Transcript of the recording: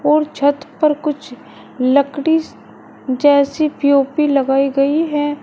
और छत पर कुछ लकड़ी जैसी पी_ओ_पी लगाई गई है।